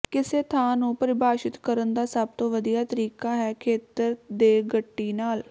ਕਿਸੇ ਥਾਂ ਨੂੰ ਪਰਿਭਾਸ਼ਿਤ ਕਰਨ ਦਾ ਸਭ ਤੋਂ ਵਧੀਆ ਤਰੀਕਾ ਹੈ ਖੇਤਰ ਦੇ ਗੱਟੀ ਨਾਲ